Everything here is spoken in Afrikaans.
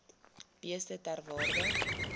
beeste ter waarde